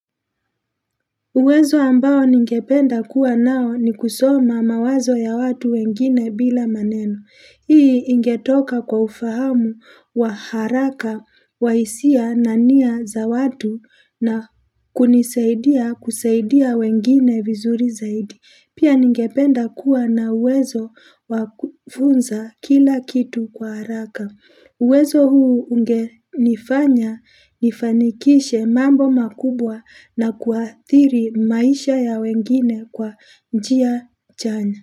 Uwezo ambao ningependa kuwa nao ni kusoma mawazo ya watu wengine bila maneno. Hii ingetoka kwa ufahamu wa haraka wa hisia na nia za watu na kunisaidia kusaidia wengine vizuri zaidi. Pia ningependa kuwa na uwezo wa kufunza kila kitu kwa haraka. Uwezo huu ungenifanya nifanikishe mambo makubwa na kuathiri maisha ya wengine kwa njia chanya.